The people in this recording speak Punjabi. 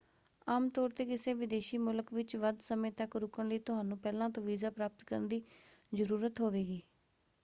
ਆਮ ਤੌਰ 'ਤੇ ਕਿਸੇ ਵਿਦੇਸ਼ੀ ਮੁਲਕ ਵਿੱਚ ਵੱਧ ਸਮੇਂ ਤੱਕ ਰੁਕਣ ਲਈ ਤੁਹਾਨੂੰ ਪਹਿਲਾਂ ਤੋਂ ਵੀਜ਼ਾ ਪ੍ਰਾਪਤ ਕਰਨ ਦੀ ਜ਼ਰੂਰਤ ਹੋਵੇਗੀ।